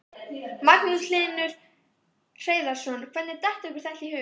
Magnús Hlynur Hreiðarsson: Hvernig datt ykkur þetta í hug?